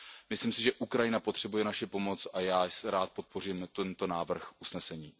Myslím si, že Ukrajina potřebuje naši pomoc a já rád podpořím tento návrh usnesení.